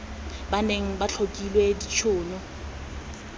ba neng ba tlhokile ditshono